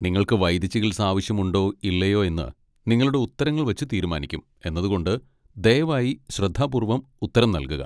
നിങ്ങൾക്ക് വൈദ്യചികിത്സ ആവശ്യമുണ്ടോ ഇല്ലയോ എന്ന് നിങ്ങളുടെ ഉത്തരങ്ങൾ വച്ച് തീരുമാനിക്കും എന്നതുകൊണ്ട് ദയവായി ശ്രദ്ധാപൂർവ്വം ഉത്തരം നൽകുക.